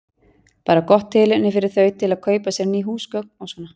Bara gott tilefni fyrir þau til að kaupa sér ný húsgögn og svona.